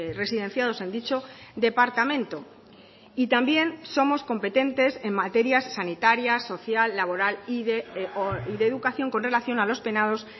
residenciados en dicho departamento y también somos competentes en materias sanitarias social laboral y de educación con relación a los penados